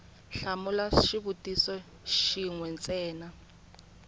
hlamula xivutiso xin we ntsena